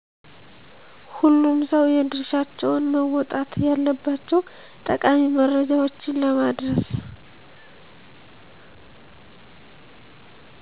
ሁሉም ሰው የድርሻቸውን መወጣት አለባቸው ጠቃሚ መረጃወችን ለማድረስ